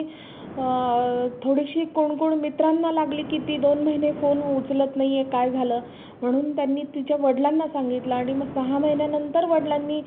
अ थोडेसे कोण कोण मित्रांना लागले की दोन phone उचलत नाहीये काय झालं म्हणून त्यांनी तिच्या वडिलांना सांगितलं आणि सहा महिन्यानंतर वडिलांनी